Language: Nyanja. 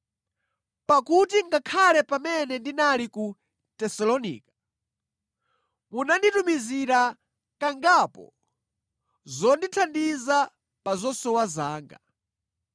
Pakuti ngakhale pamene ndinali ku Tesalonika, munanditumizira kangapo zondithandiza pa zosowa zanga.